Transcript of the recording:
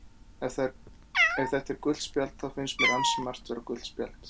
Ef að þetta er gult spjald þá finnst mér ansi margt vera gult spjald.